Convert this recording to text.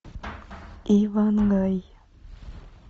иван гай